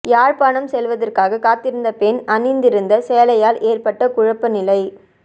யாழ்ப்பாணம் செல்வதற்காக காத்திருந்த பெண் அணிந்திருந்த சேலையால் ஏற்பட்ட குழப்ப நிலை